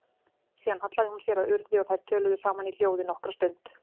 Síðan hallaði hún sér að Urði og þær töluðu saman í hljóði nokkra stund.